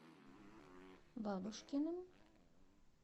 бабушкиным